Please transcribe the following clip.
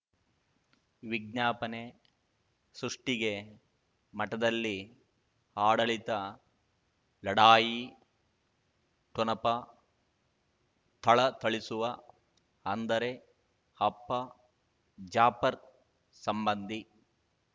ವಿಜ್ಞಾಪನೆ ಸೃಷ್ಟಿಗೆ ಮಠದಲ್ಲಿ ಆಡಳಿತ ಲಢಾಯಿ ಠೊಣಪ ಥಳಥಳಿಸುವ ಅಂದರೆ ಅಪ್ಪ ಜಾಫರ್ ಸಂಬಂಧಿ